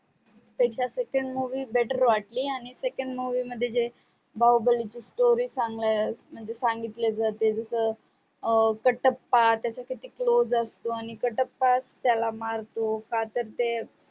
त्यांची second movie better वाटली आणि second movie मध्ये बाहुबलीची story संगल्या म्हणजे सांगितल्या जाते जस कटप्पा त्याचा किती close असतो आणि कटप्पाच त्याला मारतो का तर ते